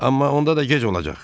Amma onda da gec olacaq.